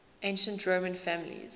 ancient roman families